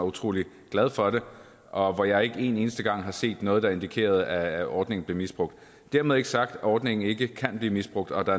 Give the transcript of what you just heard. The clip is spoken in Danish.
utrolig glade for det og og jeg har ikke en eneste gang set noget der indikerede at ordningen blev misbrugt dermed ikke sagt at ordningen ikke kan blive misbrugt og at der